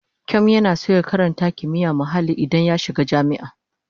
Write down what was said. Kyom yana son ya karata kimiyyar muhalli idan ya shiga jami'a.